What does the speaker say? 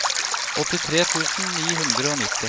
åttitre tusen ni hundre og nitti